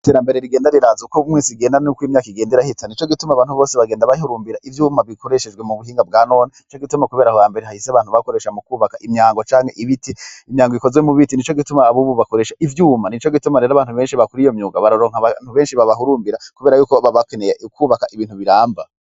Iterambere rigenda riraza uko mwisi genda n'uko'imyaka igenda irahita. Nico gituma abantu bose bagenda bahurumbira ivyuma bikoreshejwe mu buhinga bwa none.. nico gituma. Kubera ahohambere hahise abantu bakoresha mu kubaka imyango canke ibiti imyango ikozwe mu biti ni co gituma abubu bakoresha ivyuma ni co gituma rero abantu benshi bakuri iyo myuga baroronka abantu benshi babahurumbira kubera y'uko babakneye kubaka ibintu biramba.